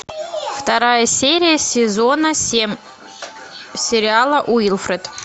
вторая серия сезона семь сериала уилфред